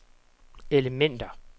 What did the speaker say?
elementer